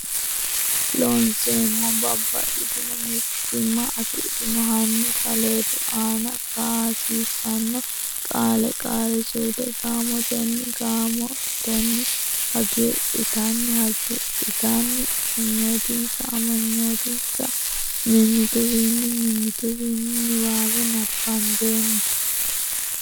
Loonseemmo Babbaxxitino mittiimma afidhino hanni saleedu aana kaa hasiissanno Qaale Qaali suude gaamotenni gaam otenni hagiidhitanni hagiidh itanni amanyootinsa amanyoot insa mimmituwiinni mimmit uwiinni niwaawe nabbambeemmo.